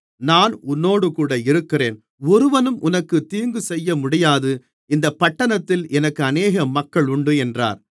நான் உன்னோடுகூட இருக்கிறேன் ஒருவனும் உனக்குத் தீங்குசெய்யமுடியாது இந்தப் பட்டணத்தில் எனக்கு அநேக மக்கள் உண்டு என்றார்